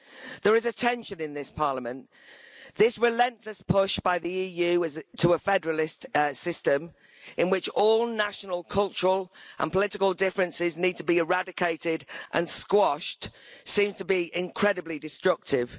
There is a tension in this Parliament, this relentless push by the EU to a federalist system in which all national cultural and political differences need to be eradicated and squashed seems to be incredibly destructive.